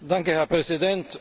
Herr Präsident!